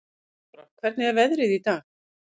Eyþóra, hvernig er veðrið í dag?